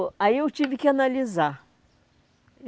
Aí eu tive que analisar.